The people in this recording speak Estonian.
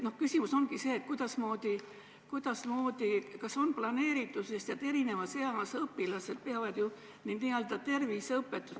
Küsimus ongi selles, kuidas ja kas on planeeritud see, et erinevas eas õpilased saaksid õppida n-ö terviseõpetust.